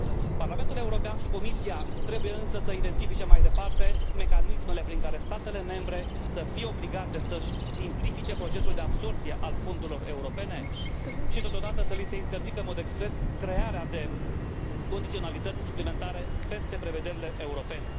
Parlamentul European și Comisia trebuie însă să identifice mai departe mecanismele prin care statele membre să fie obligate să își simplifice procesul de absorbție al fondurilor europene și totodată să li se interzică în mod expres crearea de condiționalități suplimentare peste prevederile europene.